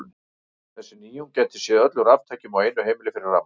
Þessi nýjung gæti séð öllum raftækjum á einu heimili fyrir rafmagni.